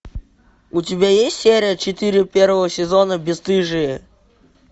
у тебя есть серия четыре первого сезона бесстыжие